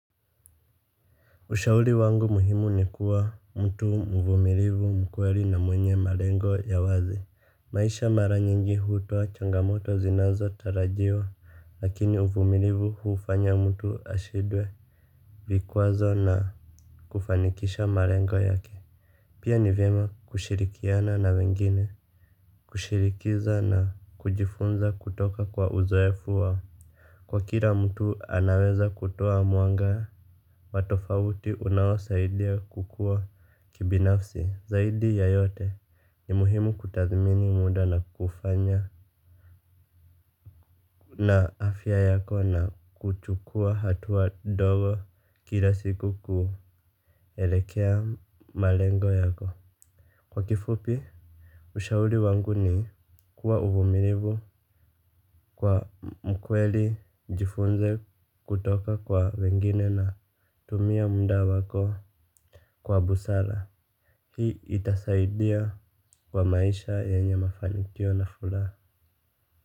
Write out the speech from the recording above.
Ushauri wangu muhimu ni kuwa mtu mvumilivu mkweli na mwenye malengo ya wazi. Maisha mara nyingi hutoa changamoto zinazo tarajiwa lakini uvumilivu huufanya mtu ashindwe. Vikwazo na kufanikisha malengo yake. Pia ni vyema kushirikiana na wengine. Kushirikiza na kujifunza kutoka kwa uzoefu wao. Kwa kila mtu anaweza kutoa mwanga, wa tofauti unaosaidia kukuwa kibinafsi, zaidi ya yote ni muhimu kutathmini muda na kufanya na afya yako na kuchukua hatua dogo kila siku kuelekea malengo yako. Kwa kifupi, ushauri wangu ni kuwa uvumilivu kwa mkweli jifunze kutoka kwa wengine na tumia muda wako kwa busara. Hii itasaidia kwa maisha yenye mafanikio na furaha.